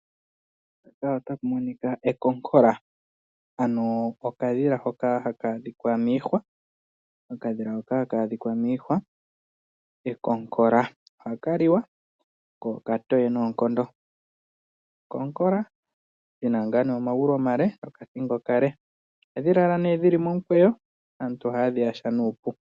Mpaka otapu monika ekonkola, ano okadhila hoka haka adhika miihwa. Okadhila hoka haka adhika miihwa ekonkola. Ohaka liwa ko okatoye noonkondo. Ekonkola lina ngaa nee omagulu omale nokathingo okale. Ohadhi lala nee dhili momukweyo aantu oha ye dhi yaha nuupu.